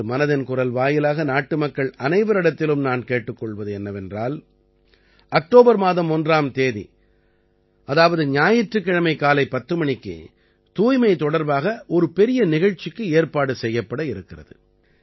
இன்று மனதின் குரல் வாயிலாக நாட்டுமக்கள் அனைவரிடத்திலும் நான் கேட்டுக் கொள்வது என்னவென்றால் அக்டோபர் மாதம் 1ஆம் தேதி அதாவது ஞாயிற்றுக்கிழமை காலை 10 மணிக்கு தூய்மை தொடர்பாக ஒரு பெரிய நிகழ்ச்சிக்கு ஏற்பாடு செய்யப்பட இருக்கிறது